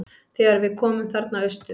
Þegar við komum þarna austur.